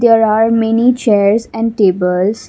there are many chairs and tables.